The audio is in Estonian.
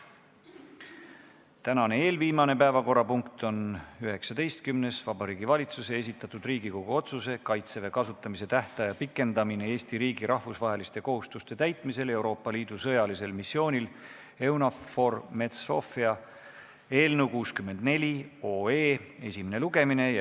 Tänane eelviimane, 19. päevakorrapunkt on Vabariigi Valitsuse esitatud Riigikogu otsuse "Kaitseväe kasutamise tähtaja pikendamine Eesti riigi rahvusvaheliste kohustuste täitmisel Euroopa Liidu sõjalisel missioonil EUNAVFOR Med/Sophia" eelnõu 64 esimene lugemine.